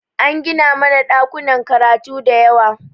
An gina mana ɗakunan karatu da yawa